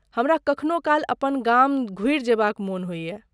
हमरा कखनो काल अपन गाम घुरि जेबाक मोन होइए।